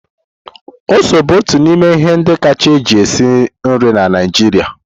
Ose bụ otu n'ime ihe ndị kacha eji esi nri na Naijiria.